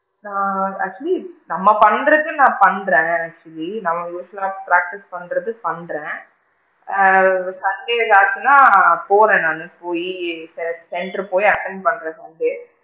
நான் actually நம்ம பண்றதுக்கு நான் பண்றேன் actually நம்ம usual லா practice பண்றதுலா நான் பண்றேன் ஆ sunday ஆச்சுன்னா போறேன் நானு போயி centre போயி attend பண்றேன் sunday.